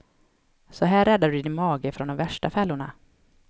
Så här räddar du din mage från de värsta fällorna.